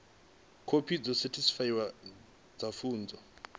khophi dzo sethifaiwaho dza pfunzo